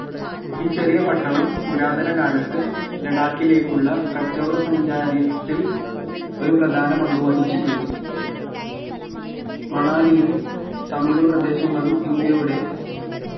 ഈ ചെറിയ പട്ടണം പുരാതന കാലത്ത് ലഡാക്കിലേക്കുള്ള കച്ചവട സഞ്ചാരിയത്തിൽ ഒരു പ്രധാന പങ്കുവഹിച്ചിട്ടുണ്ട് മണാലിയും സമീപ പ്രദേശങ്ങളും ഇന്ത്യയുടെ